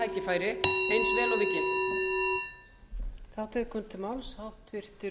notum það tækifæri eins vel og við getum